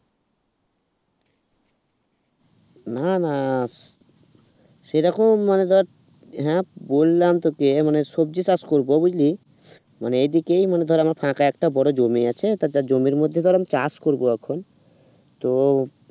না না সেরকম মানে ধর আ বললাম তোকে মানে সবজি চাষ করব বুঝলি মানে এইদিকে মানে ধর আমার ফাঁকা আছে বড় জমি আছে তারপর জমির মধ্যে ধর আমি চাষ করব এখন তো